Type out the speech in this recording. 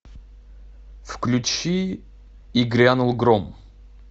включи и грянул гром